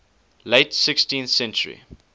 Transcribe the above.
late sixteenth century